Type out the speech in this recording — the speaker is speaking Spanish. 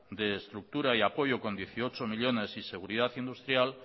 de estructura y apoyo con dieciocho millónes y seguridad industrial